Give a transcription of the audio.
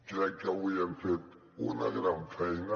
crec que avui hem fet una gran feina